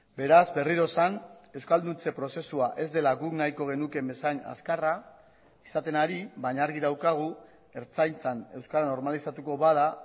beraz berriro esan euskalduntze prozesua ez dela guk nahiko genukeen bezain azkarra izaten ari baina argi daukagu ertzaintzan euskara normalizatuko bada